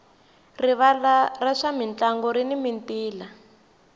rivala ra swa mintlangu rini mintila